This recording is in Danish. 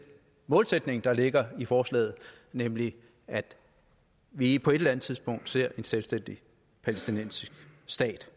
målsætning der ligger i forslaget nemlig at vi på et eller andet tidspunkt ser en selvstændig palæstinensisk stat